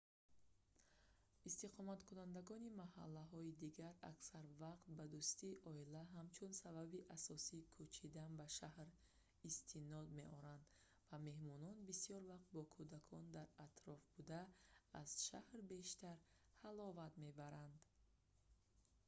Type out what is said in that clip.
истиқоматкунандагони маҳаллаҳои дигар аксар вақт ба дӯстии оила ҳамчун сабаби асосии кӯчидан ба шаҳр истинод меоранд ва меҳмонон бисёр вақт бо кӯдакони дар атроф буда аз шаҳр бештар ҳаловат мебаранд